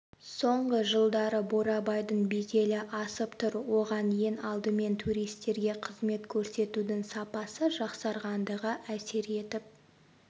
соңғы жылдары бурабайдың беделі асып тұр оған ең алдымен туристерге қызмет көрсетудің сапасы жақсарғандығы әсер етіп